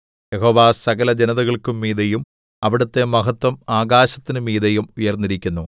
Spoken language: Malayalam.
യഹോവ സകലജനതകൾക്കും മീതെയും അവിടുത്തെ മഹത്വം ആകാശത്തിന് മീതെയും ഉയർന്നിരിക്കുന്നു